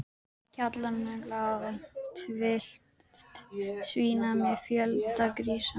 Í kjallaranum lá hálf tylft svína með fjölda grísa.